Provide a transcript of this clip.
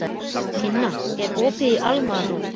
Inna, er opið í Almannaróm?